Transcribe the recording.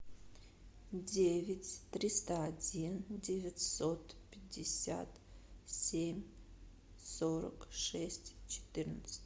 девять триста один девятьсот пятьдесят семь сорок шесть четырнадцать